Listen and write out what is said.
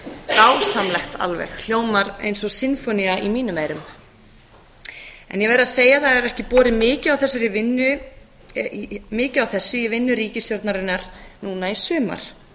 dásamlegt alveg hljómar eins og sinfónía í mínum eyrum en ég verð að segja að það hefur ekki borið mikið á þessu í vinnu ríkisstjórnarinnar núna í sumar